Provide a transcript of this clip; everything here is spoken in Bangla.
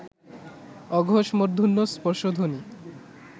অঘোষ মূর্ধন্য স্পর্শধ্বনি